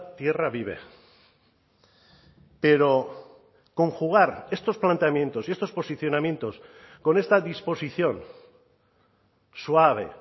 tierra vive pero conjugar estos planteamientos y estos posicionamientos con esta disposición suave